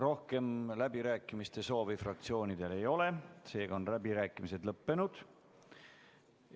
Rohkem läbirääkimiste soovi fraktsioonidel ei ole, seega on läbirääkimised lõppenud.